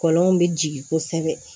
Kɔlɔnw bɛ jigin kosɛbɛ